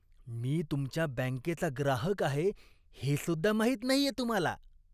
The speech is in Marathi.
मी तुमच्या बँकेचा ग्राहक आहे, हेसुद्धा माहीत नाहीये तुम्हाला?